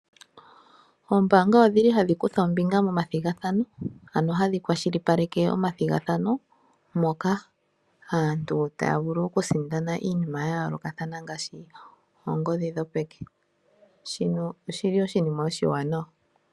Ombaanga oshili hadhi kutha ombinga momathigathano, ano hadhi kwashilipaleke omathigathano moka aantu taya vulu oku sindana iinima yayoolokathana ngaashi oongodhi dhopeke, shino oshili oshinima oshiwanawa.